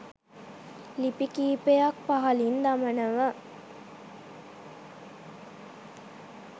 ලිපි කීපයක් පහළින් දමනව.